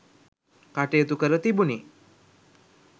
කටයුතු කර තිබුණි